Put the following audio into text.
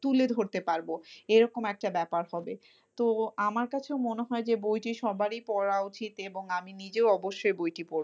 তুলে ধরতে পারবো এরকম একটা ব্যাপার হবে তো আমার কাছেও মনে হয় যে বইটি সবারই পড়া উচিত এবং আমি নিজেও অবশ্যই বইটি পড়বো।